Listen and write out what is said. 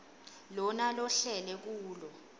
lona lohlele kulo